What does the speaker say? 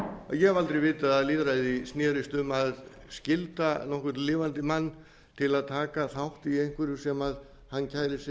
aldrei vitað að lýðræði snerist um að skylda nokkurn lifandi mann til að taka þátt í einhverju sem hann kærir sig